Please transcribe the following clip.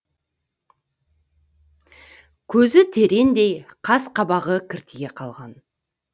көзі тереңдей қас қабағы кіртие қалған